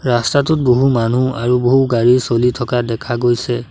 ৰাস্তাটোত বহু মানুহ আৰু বহু গাড়ীও চলি থকা দেখা গৈছে।